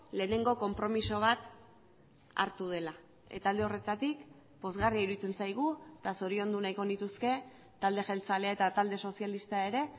lehenengo konpromiso bat hartu dela eta alde horretatik pozgarria iruditzen zaigu eta zoriondu nahiko nituzke talde jeltzalea eta talde sozialista ere